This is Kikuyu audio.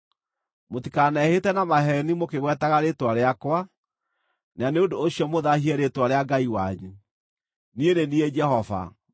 “ ‘Mũtikanehĩte na maheeni mũkĩgwetaga rĩĩtwa rĩakwa, na nĩ ũndũ ũcio mũthaahie rĩĩtwa rĩa Ngai wanyu. Niĩ nĩ niĩ Jehova.